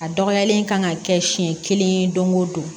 A dɔgɔyalen kan ka kɛ siɲɛ kelen don o don